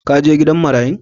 Ka je gidan marayun?